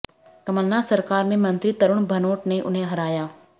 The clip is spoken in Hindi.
कमलनाथ सरकार में मंत्री तरुण भनोट ने उन्हें हराया